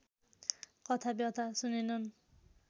कथा व्यथा सुनेनन्